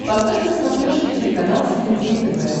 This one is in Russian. поставь на смотрешке телеканал синергия тв